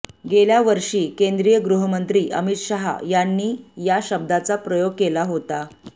गेल्या वर्षी केंद्रीय गृहमंत्री अमित शाह यांनी या शब्दाचा प्रयोग केला होता